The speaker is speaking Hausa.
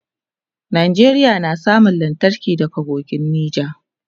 Nigeria na samun lantarki daga kogin nija